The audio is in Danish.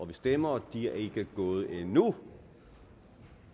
vi stemmer og de er ikke gået endnu